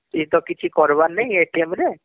ଏ ତ କିଛି କରବାର ନାଇଁ ଏ ରେ